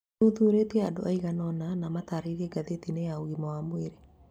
Mathuthurĩtie andũ aiganona na matarĩirie ngathĩti-inĩ ya ũgima wa mwĩrĩ